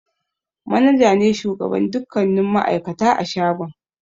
Manaja ne shugaban dukkanin ma'aikata a shagon.